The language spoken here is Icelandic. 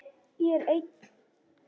Ég er einn.